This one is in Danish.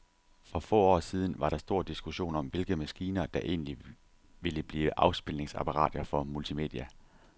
For få år siden var der stor diskussion om, hvilke maskiner, der egentlig ville blive afspilningsapparater for multimedia.